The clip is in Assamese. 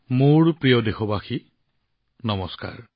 মোৰ প্ৰিয় দেশবাসী নমস্কাৰ